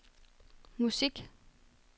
musik